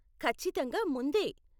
ఖచ్చితంగా ముందే.